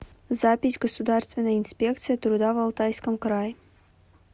запись государственная инспекция труда в алтайском крае